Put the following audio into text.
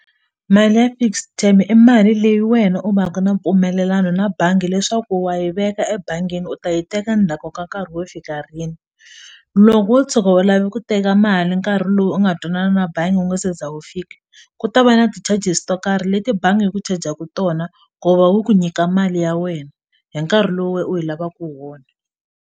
Mali ya fixed tem-e i mali leyi wena u va ka na mpfumelelano na bangi leswaku wa yi veka ebangini u ta yi teka ndzhaku ka nkarhi wo fika rini loko wo tshuka u lave ku teka mali nkarhi lowu u nga twanana na bangi wu nga se za wu fika ku ta va na ti-charges to karhi leti bangi hyi ku chajaku tona ku va wu ku nyika mali ya wena hi nkarhi lowu wena u yi lavaku hi wona.